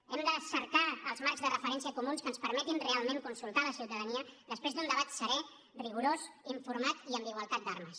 hem de cercar els marcs de referència comuns que ens permetin realment consultar la ciutadania després d’un debat serè rigorós informat i amb igualtat d’armes